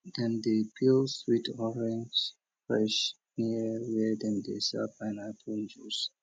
dem dey peel sweet orange fresh near where dem dey sell pineapple juice